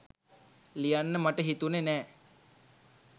ලියන්න මට හිතුනෙ නෑ.